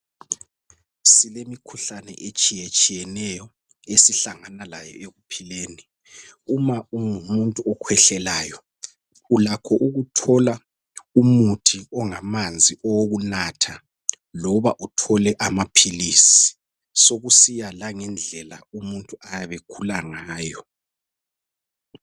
silemikhuhlane etshiyetshiyeneyo esihlangana layo ekuphileni uma ungumuntu okhwehlelayo ulakho ukuthola umuthi ongamanzi okunatha loba uthole amaphilisi sokusiya langendlela umuntu ayabe ekhula ngayo